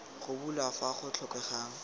go bulwa fa go tlhokegang